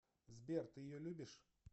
сбер ты ее любишь